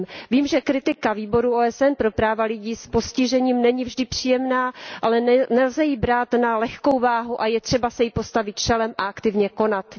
Vím, že kritika Výboru OSN pro práva lidí s postižením není vždy příjemná, ale nelze ji brát na lehkou váhu a je třeba se jí postavit čelem a aktivně konat.